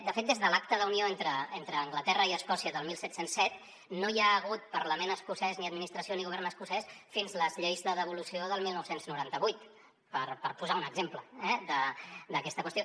de fet des de l’acta d’unió entre anglaterra i escòcia del disset zero set no hi ha hagut parlament escocès ni administració ni govern escocès fins a les lleis de devolució del dinou noranta vuit per posar un exemple eh d’aquesta qüestió